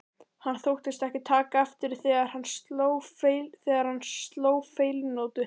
Hann þóttist ekki taka eftir því þegar hann sló feilnótu.